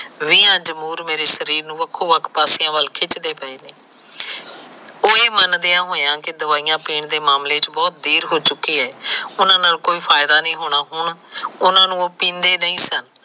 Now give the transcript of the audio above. ਵ ਮੇਰੇ ਸ਼ਰੀਰ ਨੂੰ ਵੱਖੋ ਵੱਖ ਪਾਸਿਆ ਨੂੰ ਖਿਚਦੇ ਪਏ ਨੇ ਉਹ ਇਹ ਮੰਨਦਿਆ ਹੋਇਆ ਕ ਦਵਾਈਆਂ ਪੀਣ ਦੇ ਮਾਮਲੇ ਚ ਬਹੁਤ ਦੇਰ ਹੋ ਚੁਕੀ ਏ ਉਨਾਂ ਨਾਲ ਕੋਈ ਫਾਇਦਾ ਨਹੀਂ ਹੋਣਾ ਉਹਨੂੰ ਨੂੰ ਉਹ ਪੀਂਦੇ ਨਹੀ ਸਨ